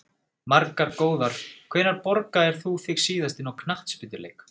Margar góðar Hvenær borgaðir þú þig síðast inn á knattspyrnuleik?